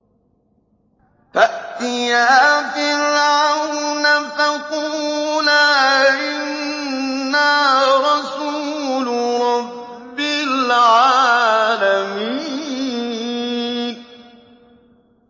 فَأْتِيَا فِرْعَوْنَ فَقُولَا إِنَّا رَسُولُ رَبِّ الْعَالَمِينَ